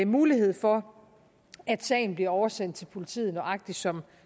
mulighed for at sagen bliver oversendt til politiet nøjagtig som